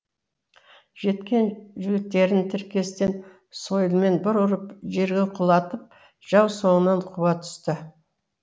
жеткен жігіттерін тіркестен сойылмен бір ұрып жерге құлатып жау соңынан қуа түсті